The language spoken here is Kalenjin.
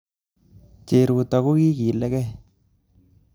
Cheruto kokiligei